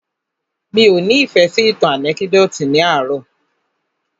Mí ọ́ ni ìfẹ́ sí ìtàn ànẹ́kídòtì ní àárò.